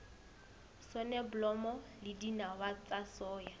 soneblomo le dinawa tsa soya